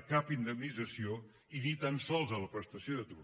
a cap indemnització i ni tan sols a la prestació d’atur